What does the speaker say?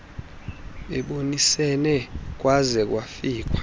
bebonisene kwaze kwafikwa